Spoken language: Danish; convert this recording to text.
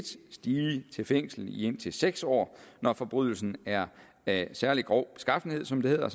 stige til fængsel i indtil seks år når forbrydelsen er af særlig grov beskaffenhed som det hedder